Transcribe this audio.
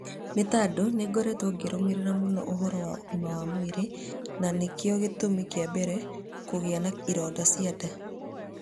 Nĩ tondũnĩngoretwo ngĩrũmĩrĩra mũno ũhoro wa ũgima wa mwĩrĩ, na nĩkĩo gĩtumi kĩa mbere kũgĩa na ironda cia nda.